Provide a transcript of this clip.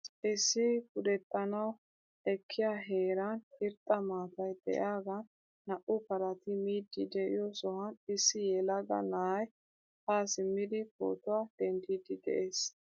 Issi pudexxanawu ekkiya heeran irxxa maataay de'iyagan naa"u parati miidi de'iyo sohuwan issi yelaga na'aay ha simidi pootuwaa denddidi de'ees.